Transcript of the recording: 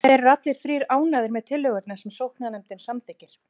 Þeir eru allir þrír ánægðir með tillögurnar sem sóknarnefndin samþykkir.